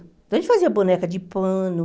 Então, a gente fazia boneca de pano.